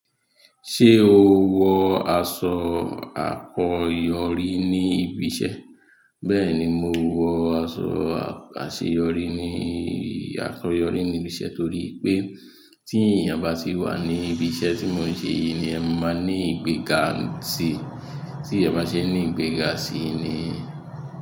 Ṣé o wọ aṣọ àkọyọrí ní ibi iṣẹ́? Bẹ́ẹ̀ni, mo wọ aṣọ àṣeyọrí ní àkọyọrí ní ibi iṣẹ́ torí pé tí èèyàn bá ti wà ní ibi iṣẹ́ tí mo ń ṣe yìí ni ẹ máa ní ìgbéga síi, tí ẹ bá ṣe ní ìgbéga sì í ni.